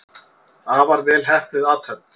Afar vel heppnuð athöfn.